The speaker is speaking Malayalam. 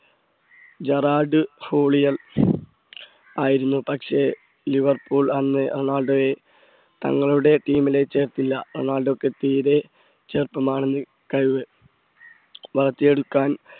ജെറാൾഡ് ഹോളിയൻ ആയിരുന്നു പക്ഷേ ലിവർപൂൾ അന്ന് റൊണാൾഡോയെ തങ്ങളുടെ team ലേക്ക് ചേർത്തില്ല റൊണാൾഡോയ്ക്ക് തീരെ ചെറുപ്പമാണ് കഴിവ് വളർത്തിയെടുക്കാൻ